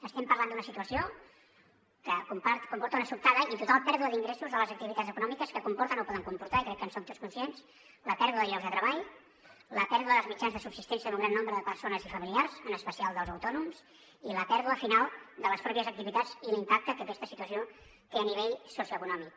estem parlant d’una situació que comporta una sobtada i total pèrdua d’ingressos de les activitats econòmiques que comporta o poden comportar i crec que en som tots conscients la pèrdua de llocs de treball la pèrdua dels mitjans de subsistència en un gran nombre de persones i familiars en especial dels autònoms i la pèrdua final de les pròpies activitats i l’impacte que aquesta situació té a nivell socioeconòmic